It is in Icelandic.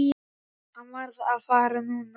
Hann varð að fara núna.